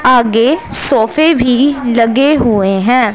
आगे सोफे भी लगे हुए हैं।